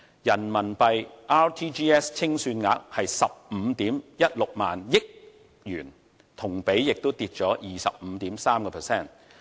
人民幣 RTGS 清算額為15萬 1,600 億元，同比下降 25.3%。